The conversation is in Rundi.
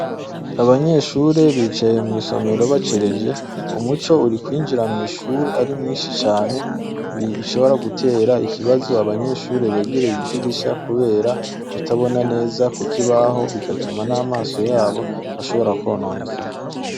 Abanyeshure bicaye mw'isomero bacereje, umuco uri kwinjira ari mwinshi cane, ni ibishobora gutera ikibazo abanyeshure begereye idirisha kubera kutabona neza ku kibaho, bigatuma n'amaso yabo ashobora kwononekara.